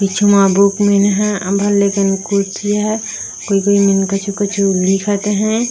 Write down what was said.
कुछ मा book mean है लेकिन कुर्सी है कोई-कोई मीन कछु-कछु लिखत है।